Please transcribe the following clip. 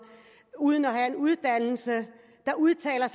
uden at have en uddannelse der udtaler